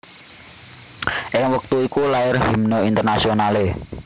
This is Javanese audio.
Ing wektu iku lair Himne Internasionale